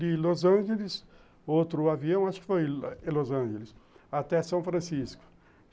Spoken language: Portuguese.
De Los Angeles, outro avião, acho que foi em Los Angeles, até São Francisco.